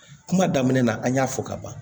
Kuma daminɛ na an y'a fɔ ka ban